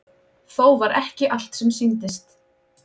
Þó var ekki allt sem sýndist.